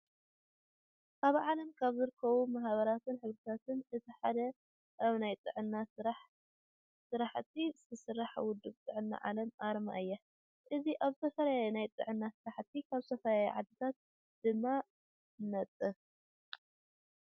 ኣብ ዓለም ካብ ዝርከቡ ማህባራትን ሕብረታታት እቲ ሓደ ኣብ ናይ ጥዕና ስራሕቲ ዝሰርሕ ውድብ ጥዕና ዓለም ኣርማ እዩ። እዚ ኣብ ዝተፈላለዩ ናይ ጥዕና ስራሕቲ ኣብ ዝተፈለላዩ ዓድታት ድማ ይነጥፍ።